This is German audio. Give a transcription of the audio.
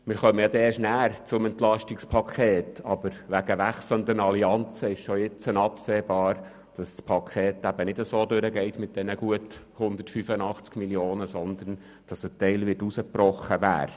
Zum EP kommen wir ja erst nachher, aber wegen wechselnden Allianzen ist bereits jetzt absehbar, dass das Paket nicht mit den gut 185 Mio. Franken durchgehen, sondern ein Teil herausgebrochen wird.